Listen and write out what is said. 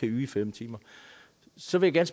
yde fem timer så vil jeg